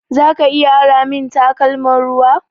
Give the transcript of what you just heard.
Zaka iya ara min takalman ruwa?